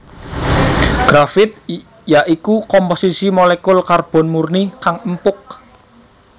Grafit ya iku komposisi molekul karbon murni kang empuk